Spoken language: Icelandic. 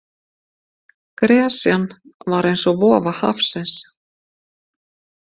Gresjan var eins og vofa hafsins.